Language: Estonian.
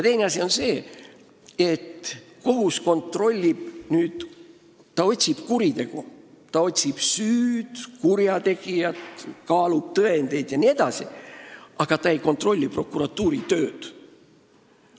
Teine asi on see, et kohut huvitab kuritegu – ta otsib kurjategijalt süüd, kaalub tõendeid jne –, ta ei kontrolli prokuratuuri tööd.